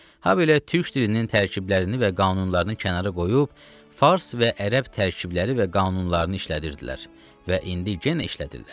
Habelə türk dilinin tərkiblərini və qanunlarını kənara qoyub fars və ərəb tərkibləri və qanunlarını işlədirdilər və indi yenə işlədirlər.